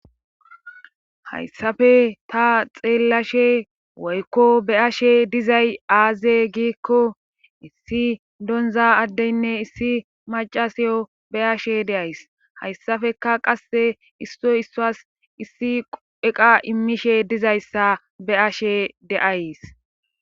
hayssafe ta xeellashe woykko be ashe dizay aaze giikko issi donza addeynne issi macasiyo be ashe deays hayssafeka qasse issoy isswas issi eqa immishe dizayssa be ashe deays